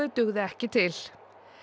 dugði ekki til